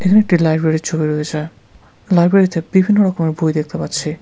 এখানে একটি লাইব্রেরির ছবি রয়েছে। লাইব্রেরি -তে বিভিন্ন রকমের বই দেখতে পাচ্ছি।